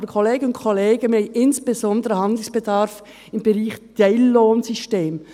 Aber, Kolleginnen und Kollegen, wir haben insbesondere Handlungsbedarf im Bereich Teillohnsysteme.